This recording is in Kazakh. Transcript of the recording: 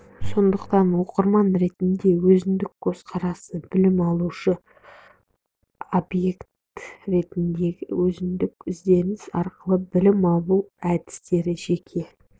сондықтан оқырман ретіндегі өзіндік көзқарасы білім алушы субъект ретіндегі өзіндік ізденіс арқылы білім алу әдістері жеке